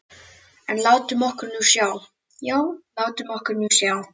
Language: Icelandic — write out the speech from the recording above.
En látum okkur nú sjá, já, látum okkur nú sjá.